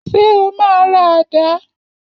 Ṣé o máa ra àdá?